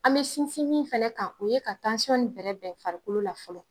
An bɛ sinsin min fɛnɛ kan o ye ka in bɛrɛ bɛn farikolo la fɔlɔ.